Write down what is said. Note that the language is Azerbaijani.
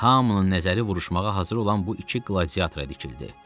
Hamının nəzəri vuruşmağa hazır olan bu iki gladiatora dikildi.